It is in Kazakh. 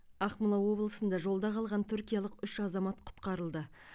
ақмола облысында жолда қалған түркиялық үш азамат құтқарылды